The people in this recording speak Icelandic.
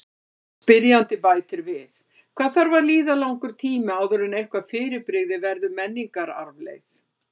Spyrjandi bætir við: Hvað þarf að líða langur tími áður en eitthvað fyrirbrigði verður menningararfleifð?